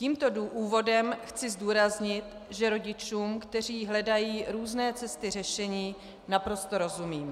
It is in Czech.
Tímto úvodem chci zdůraznit, že rodičům, kteří hledají různé cesty řešení, naprosto rozumím.